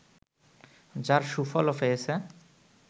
যার সুফলও পেয়েছে